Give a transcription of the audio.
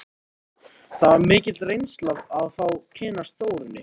Það var mikil reynsla að fá að kynnast Þórunni.